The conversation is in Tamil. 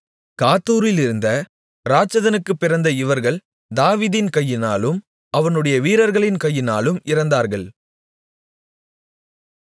காத்தூரிலிருந்த இராட்சதனுக்குப் பிறந்த இவர்கள் தாவீதின் கையினாலும் அவனுடைய வீரர்களின் கையினாலும் இறந்தார்கள்